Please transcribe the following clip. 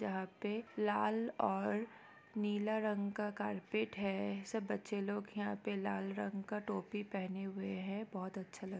यहाँ पे लाल और नीला रंग का कार्पेट है सब बच्चे लोग यहाँ पे लाल रंग का टोपी पहने हुए है। बहुत अच्छा लग--